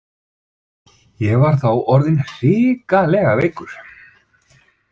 Ég var þá orðinn hrikalega veikur.